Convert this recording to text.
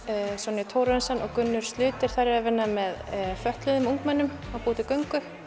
Sonja Thorarensen og Gunnur eru að vinna með fötluðum ungmennum að búa til göngu